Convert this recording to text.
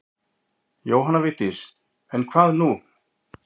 Jóhanna Vigdís en hvað nú?